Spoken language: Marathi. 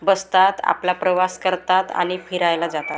बसतात आपला प्रवास करतात आणि फिरायला जातात.